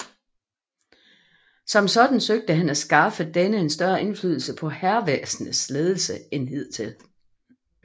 Som sådan søgte han at skaffe denne en større indflydelse på hærvæsenets ledelse end hidtil